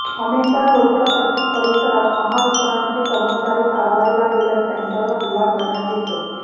अनेकदा झोपडपट्टी परिसरात महावितरणचे कर्मचारी कारवाईला गेल्यास त्यांच्यावर हल्ला करण्यात येतो